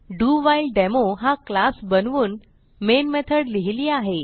डोव्हिलेडेमो हा क्लास बनवून main method लिहिली आहे